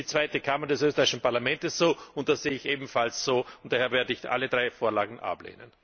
Das sieht die Zweite Kammer des österreichischen Parlaments so, und das sehe ich ebenfalls so. Daher werde ich alle drei Vorlagen ablehnen.